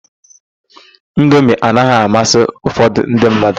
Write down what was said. Indomi anaghị amasị ụfọdụ ndị mmadụ..